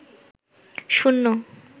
শূন্য